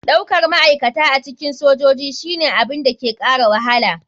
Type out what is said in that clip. Daukar ma'aikata a cikin sojoji shine abin da ke kara wahala.